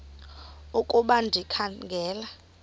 ukuba ndikha ngela